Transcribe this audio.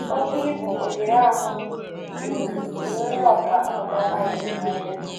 Oké ibu oghere ahụ buru tụrụ ndị ọkà mmụta sayensị nanya.